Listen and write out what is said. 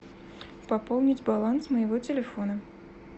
пополнить баланс моего телефона